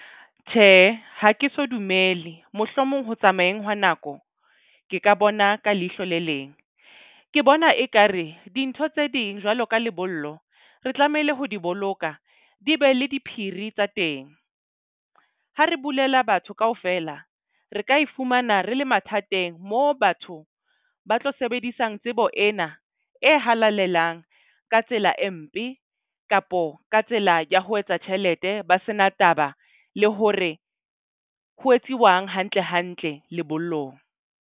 Tjhehe, ha ke so dumele mohlomong ho tsamayeng hwa nako ke ka bona ka leihlo le leng. Ke bona ekare dintho tse ding jwalo ka lebollo. Re tlamehile ho di boloka di be le diphiri tsa teng. Ha re bulela batho kaofela re ka e fumana re le mathateng. Mo batho ba tlo sebedisang tsebo ena e halalelang ka tsela e mpe kapo ka tsela ya ho etsa tjhelete ba sena taba le hore ho etsiwang hantle hantle lebollong.